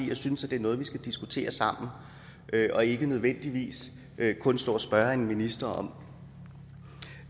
jeg synes at det er noget vi skal diskutere sammen og ikke nødvendigvis kun stå og spørge en minister om